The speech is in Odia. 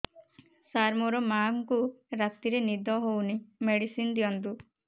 ସାର ମୋର ମାଆଙ୍କୁ ରାତିରେ ନିଦ ହଉନି ମେଡିସିନ ଦିଅନ୍ତୁ